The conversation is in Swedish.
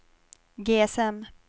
GSM